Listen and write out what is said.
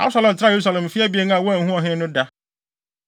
Absalom tenaa Yerusalem mfe abien a wanhu ɔhene no da.